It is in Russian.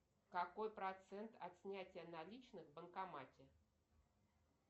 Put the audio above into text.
какой процент от снятия наличных в банкомате